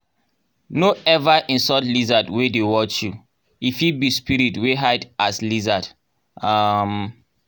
no ever insult lizard wey dey watch you — e fit be spirit wey hide as lizard. um